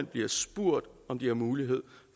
bliver spurgt om de har mulighed